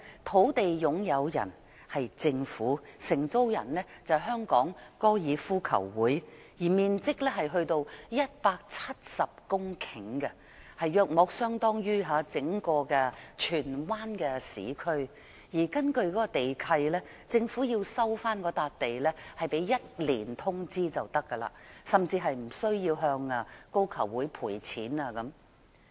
土地擁有人是政府，承租人是香港高爾夫球會，面積達170公頃，大約相當於整個荃灣市區，而根據該地契，如果政府要收回該幅土地，只須1年通知便可，甚至無須向高球會賠償等。